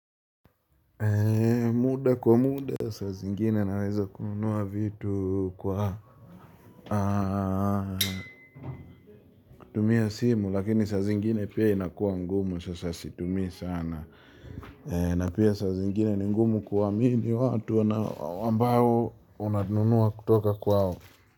Muda kwa muda sa zingine naweza kununua vitu kwa kutumia simu lakini sa zingine pia inakuwa ngumu So sasitumii sana. Na pia sa zingine ni ngumu kuamini watu anao ambao unanunua kutoka kwao.